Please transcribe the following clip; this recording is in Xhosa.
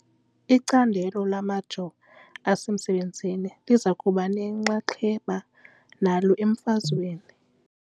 Icandelo lamajoo asemanzini liza kuba nenxaxheba nalo emfazweni .